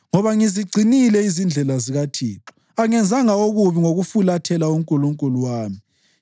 Ngoba ngizigcinile izindlela zikaThixo; angenzanga okubi ngokufulathela uNkulunkulu wami.